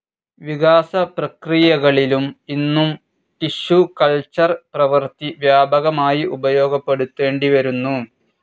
വികാസപ്രക്രീയകളിലും ഇന്നും tissue culture പ്രവൃത്തി വ്യാപകമായി ഉപയോഗപ്പെടുത്തേണ്ടിവരുന്നു.